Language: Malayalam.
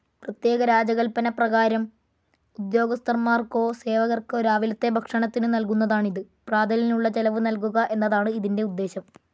പ്രത്യേക രാജകല്പന പ്രകാരം ഉദ്യോഗസ്ഥന്മാർക്കോ സേവകർക്കോ രാവിലത്തെ ഭക്ഷണത്തിനു നൽകുന്നതാണിത്.പ്രാതലിനുള്ള ചെലവ് നൽകുക എന്നതാണ് ഇതിന്റെ ഉദ്ദേശം.